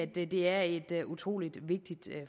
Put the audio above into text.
det er et utrolig vigtigt